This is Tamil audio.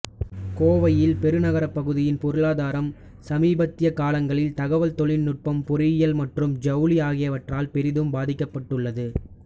கோவையில் பெருநகரப் பகுதியின் பொருளாதாரம் சமீபத்திய காலங்களில் தகவல் தொழில்நுட்பம் பொறியியல் மற்றும் ஜவுளி ஆகியவற்றால் பெரிதும் பாதிக்கப்பட்டுள்ளது